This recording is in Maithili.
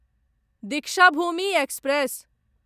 दीक्षाभूमि एक्सप्रेस